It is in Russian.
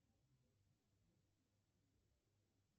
афина какой цвет у кошмар перед рождеством